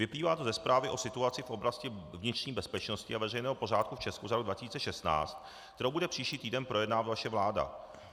Vyplývá to ze Zprávy o situaci v oblasti vnitřní bezpečnosti a veřejného pořádku v Česku za rok 2016, kterou bude příští týden projednávat vaše vláda.